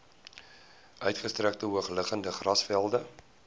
uitgestrekte hoogliggende grasvelde